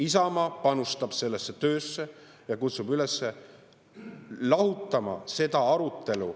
Isamaa panustab sellesse töösse ja kutsub üles lahutama seda arutelu …